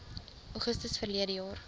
augustus verlede jaar